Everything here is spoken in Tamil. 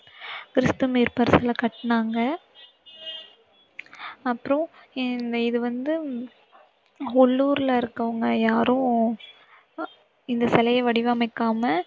கிறிஸ்து மீட்பர் சிலை கட்டுனாங்க. அப்பறம், இது வந்து உள்ளூர்ல இருக்கவங்க யாரும் இந்த சிலையை வடிவமைக்காம